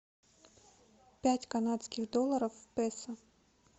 пять канадских долларов в песо